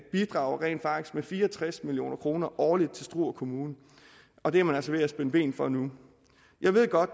bidrager rent faktisk med fire og tres million kroner årligt til struer kommune og det er man altså ved at spænde ben for nu jeg ved godt